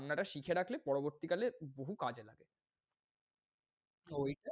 রান্নাটা শিখে রাখলে পরবর্তী কালে বহু কাজে লাগে। ঐ